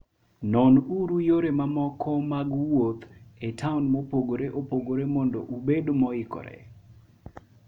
Nonuru yore mamoko mag wuoth e taon mopogore opogore mondo ubed moikore.